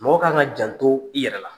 Mɔgɔ kan ka jan to i yɛrɛ la.